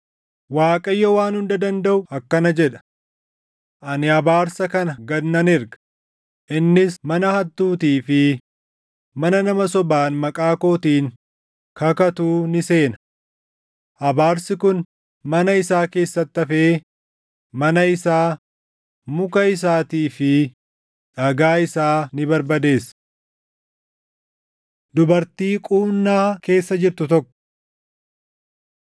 Waaqayyo Waan Hunda Dandaʼu akkana jedha; ‘Ani abaarsa kana gad nan erga; innis mana hattuutii fi mana nama sobaan maqaa kootiin kakatuu ni seena. Abaarsi kun mana isaa keessatti hafee, mana isaa, muka isaatii fi dhagaa isaa ni barbadeessa.’ ” Dubartii Quunnaa Keessa Jirtu Tokko